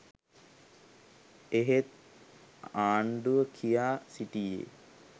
එහෙත් ආණ්ඩුව කියා සිටියේ